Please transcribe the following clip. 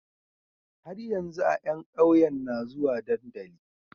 Har yanzu a yan ƙauye na zuwa dandali